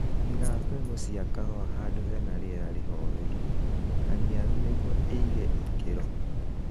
Iga mbegũ cia kahũa handũ hena rĩera rĩholelu, haniaru nĩguo ĩige ikĩro